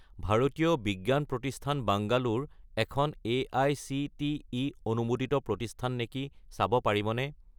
ভাৰতীয় বিজ্ঞান প্ৰতিষ্ঠান বাংগালোৰ এখন এআইচিটিই অনুমোদিত প্ৰতিষ্ঠান নেকি চাব পাৰিবনে?